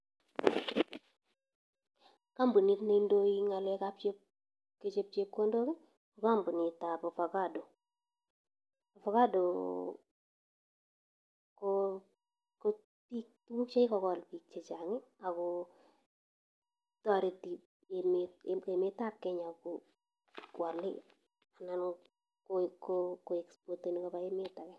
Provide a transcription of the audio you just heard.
Kampunit ne indoi eng ng'alekab chep, kechop chepkondok, ko kampunitab ovacado. Ovacado ko pik, tuguk che kikogol biik chechang ago toreti emet, emetab Kenya koale anan ko expoteni koba emet age.